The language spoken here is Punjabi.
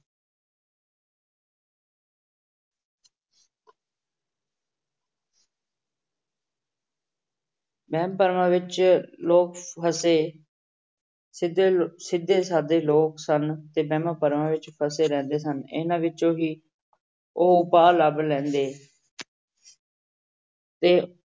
ਵਹਿਮ ਭਰਮਾਂ ਵਿੱਚ ਲੋਕ ਫਸੇ ਸਿੱਧੇ ਸਿੱਧੇ ਸਾਧੇ ਲੋਕ ਸਨ ਤੇ ਵਹਿਮਾਂ ਭਰਮਾਂ ਵਿੱਚ ਫਸੇ ਰਹਿੰਦੇ ਸਨ, ਇਹਨਾਂ ਵਿੱਚੋਂ ਹੀ ਉਹ ਉਪਾਅ ਲੱਭ ਲੈਂਦੇ ਤੇ